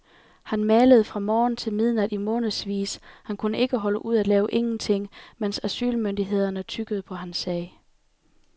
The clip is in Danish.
Han malede fra morgen til midnat i månedsvis, han kunne ikke holde ud at lave ingenting, mens asylmyndighederne tyggede på hans sag.